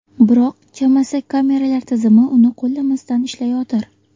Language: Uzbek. Biroq, chamasi kameralar tizimi uni qo‘llamasdan ishlayotir.